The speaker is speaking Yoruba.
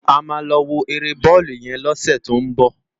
Ámá lò wó éré bòlú yèn lòsè tó n bò